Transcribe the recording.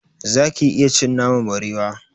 Zaki iya cin naman barewa?